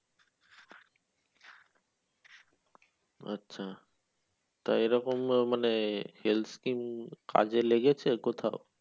আচ্ছা তো এরকম মানে health scheme কাজে লেগেছে কোথাও?